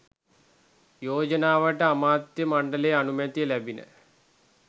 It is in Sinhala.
යෝජනාවට අමාත්‍ය මණ්ඩල අනුමැතිය ලැබිණ.